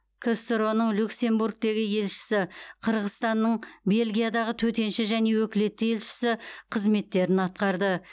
ксро ның люксембургтегі елшісі қырғызстанның бельгиядағы төтенше және өкілетті елшісі қызметтерін атқарды